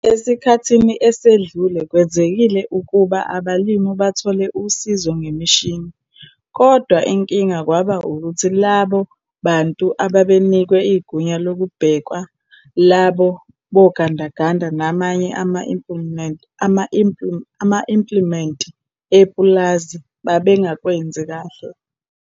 Esikhathini esedlule, kwenzekile ukuba abalimi bathole usizo ngemishini, kodwa inking kwaba ukuthi labo bantu ababenikwe igunya lokubheka labo bogandaganda namanye ama-implimenti epulazi babengakwenzi kahle.